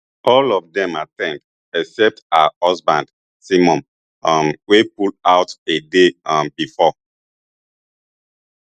all of dem at ten d except her husband simon um wey pull out a day um bifor